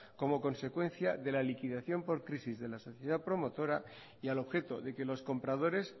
como consecuencia de la liquidación por crisis de la sociedad promotora y al objeto de que los compradores